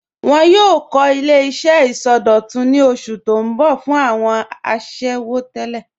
Wọn yòò kọ̀ ilẹ̀-iṣẹ̀ isọdọ̀tún ní osù tó n bọ̀ fún awọn àṣẹwo tẹlẹ.